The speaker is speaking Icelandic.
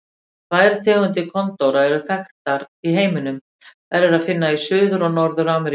Tvær tegundir kondóra eru þekktar í heiminum, þær er að finna í Suður- og Norður-Ameríku.